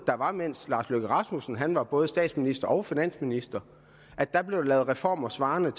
der var mens lars løkke rasmussen var både statsminister og finansminister lavet reformer svarende